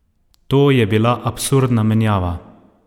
To je bila absurdna menjava!